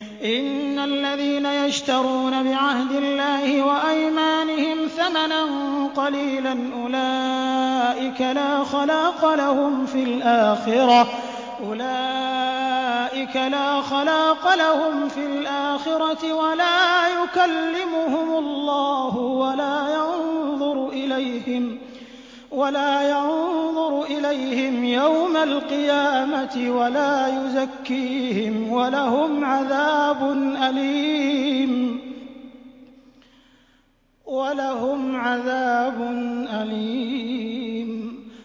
إِنَّ الَّذِينَ يَشْتَرُونَ بِعَهْدِ اللَّهِ وَأَيْمَانِهِمْ ثَمَنًا قَلِيلًا أُولَٰئِكَ لَا خَلَاقَ لَهُمْ فِي الْآخِرَةِ وَلَا يُكَلِّمُهُمُ اللَّهُ وَلَا يَنظُرُ إِلَيْهِمْ يَوْمَ الْقِيَامَةِ وَلَا يُزَكِّيهِمْ وَلَهُمْ عَذَابٌ أَلِيمٌ